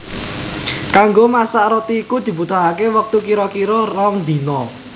Kanggo masak roti iku dibutuhaké wektu kira kira rong dina